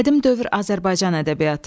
Qədim dövr Azərbaycan ədəbiyyatı.